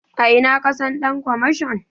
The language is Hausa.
A ina ka san ɗan kwamashon?